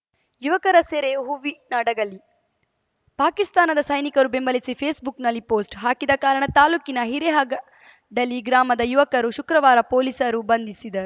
ಯುವಕರ ಸೆರೆ ಹೂವಿನಡಗಲಿ ಪಾಕಿಸ್ತಾನದ ಸೈನಿಕರು ಬೆಂಬಲಿಸಿ ಫೇಸ್‌ಬುಕ್‌ನಲ್ಲಿ ಪೋಸ್ಟ್‌ ಹಾಕಿದ ಕಾರಣ ತಾಲೂಕಿನ ಹಿರೇಹಗಡಲಿ ಗ್ರಾಮದ ಯುವಕರು ಶುಕ್ರವಾರ ಪೊಲೀಸರು ಬಂಧಿಸಿದ